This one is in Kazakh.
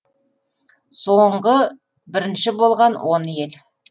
соңғы бірінші болған он ел